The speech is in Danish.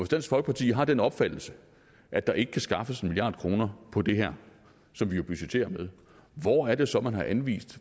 dansk folkeparti har den opfattelse at der ikke kan skaffes den milliard kroner på det her som vi jo budgetterer med hvor er det så man har anvist